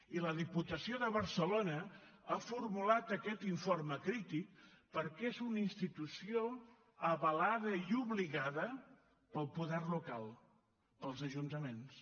i la diputació de barcelona ha formulat aquest informe crític perquè és una institució avalada i obligada pel poder local pels ajuntaments